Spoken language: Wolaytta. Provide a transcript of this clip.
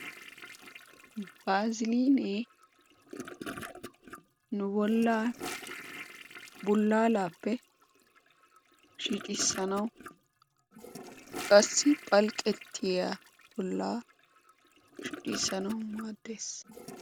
baaziliinee nu bollaa bullaalappe shiiccisanawu qassi phalqqetiyaa bollaa shiiccisanawu maaddees.